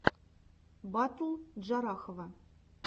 батл джарахова